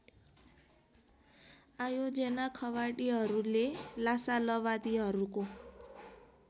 आयोजेनाख॑वादीहरूले लासालवादीहरूको